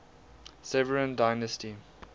severan dynasty